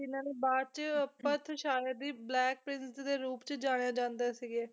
ਤੇ ਜਿੰਨਾ ਨੇ ਬਾਅਦ ਚ ਅੱਪਤ ਸ਼ਾਇਦ ਹੀ black prince ਦੇ ਰੂਪ ਚ ਜਾਣਿਆ ਜਾਂਦੇ ਸੀਗੇ,